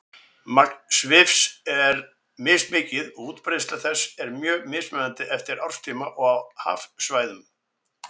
Magn svifs er mismikið og útbreiðsla þess er mjög mismunandi eftir árstíma og hafsvæðum.